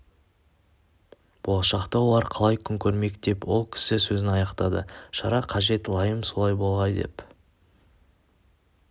болашақта олар қалай күн көрмек деп ол кісі сөзін аяқтады шара қажет лайым солай болғай деп